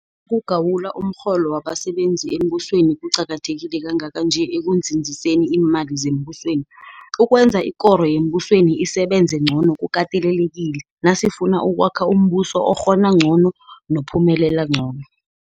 ukugawula umrholo wabasebenzi bembusweni kuqakatheke kangaka nje ekunzinziseni iimali zembusweni, ukwenza ikoro yembusweni isebenze ngcono kukatelelekile, nasifuna ukwakha umbuso okghona ngcono, nophumelela ngcono.